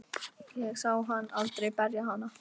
Ég sá hann aldrei berja hana.